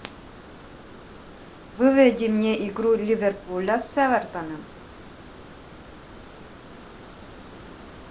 выведи мне игру ливерпуля с эвертоном